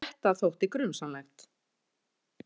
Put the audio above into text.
Þetta þótti grunsamlegt.